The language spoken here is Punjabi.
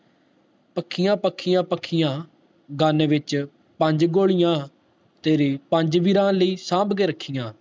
ਪੱਖੀਆਂ ਪੱਖੀਆਂ ਪੱਖੀਆਂ gun ਵਿਚ ਪੰਜ ਗੋਲੀਆਂ ਤੇਰੇ ਪੰਜ ਵੀਰਾ ਲਈ ਸਾਭ ਕੇ ਰੱਖਿਆ